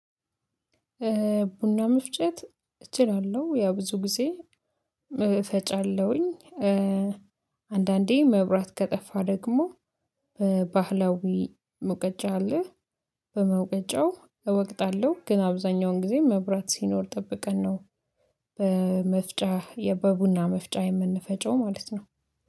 ቡና መፍጨት እችላለሁ ያው ብዙ ጊዜ እፈጫለሁኝ አንዳንዴ መብራት ከጠፋ ደግሞ በባህላዊ መውቀጫ አለ። በመውቀጫው እወቅጣለሁ ግን አብዛኛውን ጊዜ መብራት ሲኖር ጠብቀን ነው በመፍጫ በቡና መፍጨር የምንፈጨው ማለት ነው።